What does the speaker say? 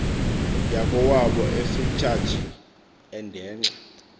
yakowabo efritshatshi endenxa